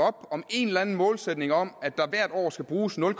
om en eller anden målsætning om at der hvert år skal bruges nul